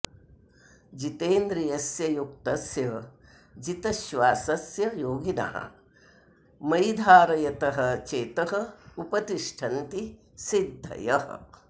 जितेन्द्रियस्य युक्तस्य जितश्वासस्य योगिनः मयि धारयतः चेतः उपतिष्ठन्ति सिद्धयः